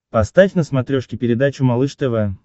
поставь на смотрешке передачу малыш тв